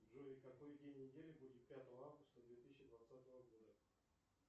джой какой день недели будет пятого августа две тысячи двадцатого года